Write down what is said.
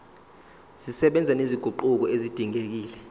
zisebenza nezinguquko ezidingekile